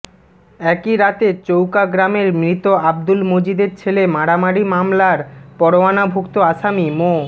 একই রাতে চৌকা গ্রামের মৃত আব্দুল মজিদের ছেলে মারামারি মামলার পরোয়ানাভুক্ত আসামি মো